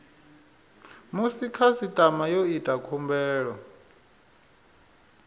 musi khasitama yo ita khumbelo